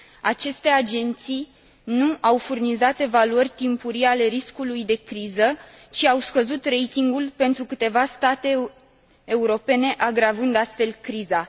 Aceste agenții nu au furnizat evaluări timpurii ale riscului de criză, ci au scăzut ratingul pentru câteva state europene, agravând astfel criza.